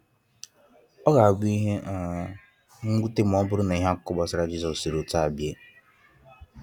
Ọ ga abu ihe um nwute ma oburu na ihe/akuko gbasara Jisos siri otu a bie.